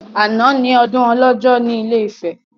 Àná ni ọdún ọlọ́jọ́ ní ilé Ifẹ̀